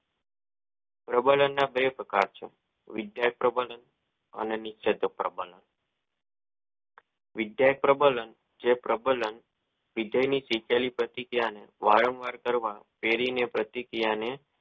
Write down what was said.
પ્રબનના બે પ્રકાર છે વિદ્યાય પ્રબન ન ને નીચે તવ પ્રબંન ન વિદ્યાય પ્રબંન ન જે વિદ્યા ની આપેલી જ્ઞાન વારંવાર કરવા પેરી ની પ્રતિક્રિયા ને